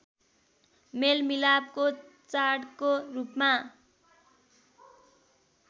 मेलमिलापको चाडको रूपमा